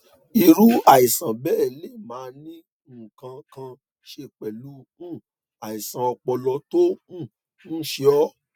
irú àìsàn béè lè máà ní nǹkan kan ṣe pèlú um àìsàn ọpọlọ tó um ń ṣe ó